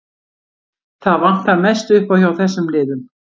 Það vantar mest upp á hjá þessum liðum.